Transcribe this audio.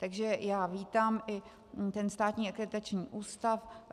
Takže já vítám i ten státní akreditační ústav.